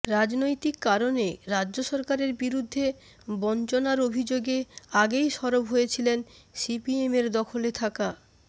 রাজনৈতিক কারণে রাজ্য সরকারের বিরুদ্ধে বঞ্চনার অভিযোগে আগেই সরব হয়েছিলেন সিপিএমের দখলে থাকা